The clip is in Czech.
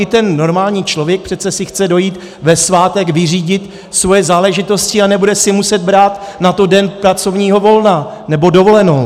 I ten normální člověk si přece chce dojít ve svátek vyřídit svoje záležitosti a nebude si muset brát na to den pracovního volna nebo dovolenou.